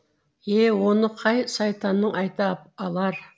е оны қай сайтаның айта алар